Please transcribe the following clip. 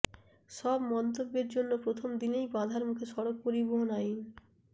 সব মন্তব্যের জন্য প্রথম দিনেই বাধার মুখে সড়ক পরিবহন আইন